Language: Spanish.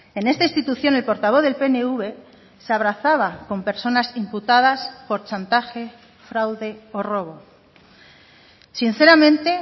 en esta institución el portavoz del pnv se abrazaba con personas imputadas por chantaje fraude o robo sinceramente